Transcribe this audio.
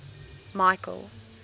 michael